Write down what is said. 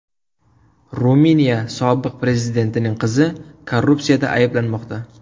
Ruminiya sobiq prezidentining qizi korrupsiyada ayblanmoqda.